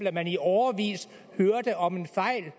at man i årevis hørte om en fejl